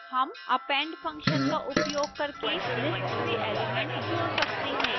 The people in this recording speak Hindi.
हम append फंक्शन का उपयोग करके list में एलिमेंट जोड़ सकते हैं